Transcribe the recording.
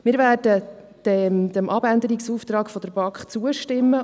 Wir werden dem Abänderungsantrag der BaK zustimmen.